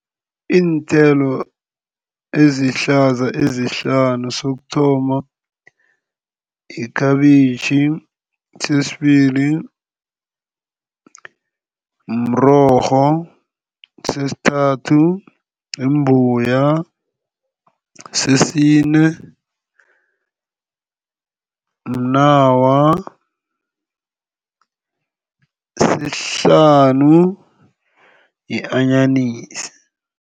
Iinthelo ezihlaza ezihlanu sokuthoma yikhabitjhi, sesibili mrorho, sesithathu yimbuya, sesine mnawa, sesihlanu yi-anyanisi.